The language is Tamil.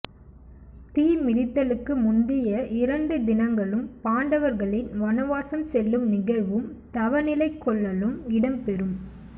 தீ மிதித்தலுக்கு முந்திய இரண்டு தினங்களும் பாண்டவர்களின் வனவாசம் செல்லும் நிகழ்வும் தவநிலை கொள்ளலும் இடம் பெறும்